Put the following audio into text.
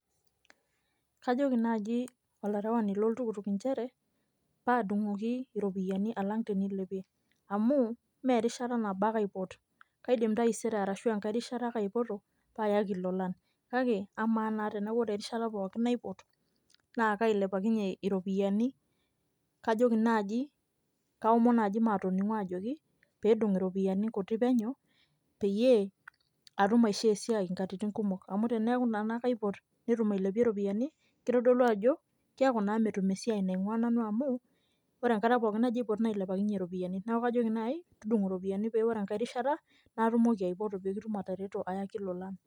Kajoki naaji olarewani loltukutuk nchere paa adung'oji iropiyiani alang' tenilepie amu mee erishata nabo ake aipot, kaidim taisere arashu enkae rishata ake aipoto paa ayaki ilolan kake ama naa eneeku ore erishata pookin naipot naa kailepakinyie iropiyiani kajoki naaji, kaomon naaji maatoning'u ajoki pee edung' iropiyiani kuti penyo peyie atum aishoo esia nkatitin kumok amu teneeku naa akaipot netum ailepie iropiyiani kitodolu ajo keeku naa metum esiai nainguaa nanu amu ore enkata pookin najo aipot nailepakinyie iropiyiani, neeku kajoki naai tudung'o iropiyiani pee ore enkae rishata naatumoki aipoto pee kitum atareto ayaki ilolan.